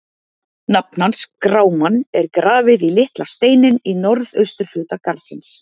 Nafn hans, Grámann, er grafið í litla steininn í norðausturhorni garðsins.